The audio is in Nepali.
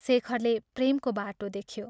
शेखरले प्रेमको बाटो देख्यो।